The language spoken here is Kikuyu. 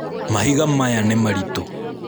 Mahiga maya nĩ maritũ